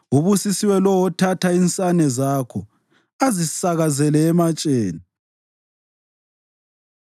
Ubusisiwe lowo othatha insane zakho, azisakazele ematsheni.